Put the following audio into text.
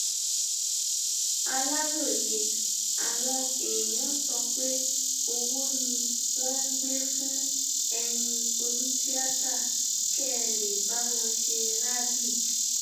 aláròye àwọn èèyàn sọ pé owó ni wọn ń gbé fún ẹyin onítìátà kẹ ẹ lè bá wọn ṣe rálì